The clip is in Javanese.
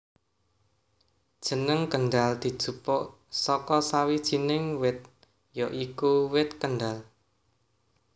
Jeneng Kendhal dijupuk saka sawijinig wit ya iku Wit Kendhal